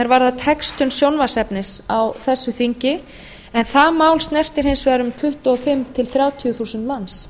varðar textun sjónvarpsefnis á þessu þingi en það mál snertir hins vegar um tuttugu og fimm til þrjátíu þúsund manns